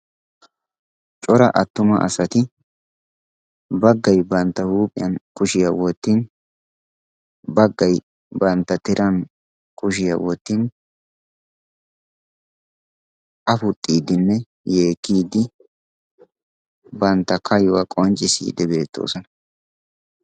Cora attuma asaati baggay bantta huuphphiyan bantta kushiyaa wottidi baggaay bantta tiran kushiyaa wottidi affuxxidinne yeekkidi bantta kayuwaa qonccissidi deosona.